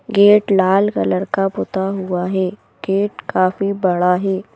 Gate लाल colour का पुता हुआ है गेट काफी बड़ा है।